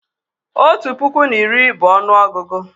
Otu puku na iri bụ ọnụọgụgụ